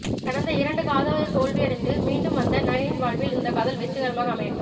கடந்து இரண்டு காதலில் தோல்வி அடைந்து மீண்டு வந்த நயனின் வாழ்வில் இந்த காதல் வெற்றிக்கரமாக அமையட்டும்